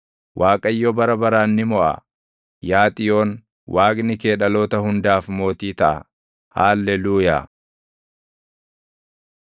Waaqayyo bara baraan ni moʼa; Yaa Xiyoon, Waaqni kee dhaloota hundaaf mootii taʼa. Haalleluuyaa.